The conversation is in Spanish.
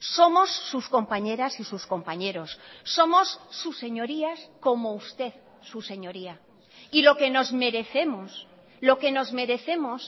somos sus compañeras y sus compañeros somos sus señorías como usted su señoría y lo que nos merecemos lo que nos merecemos